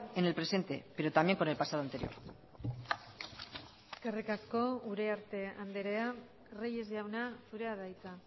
en el presente pero también con el pasado anterior eskerrik asko uriarte andrea reyes jauna zurea da hitza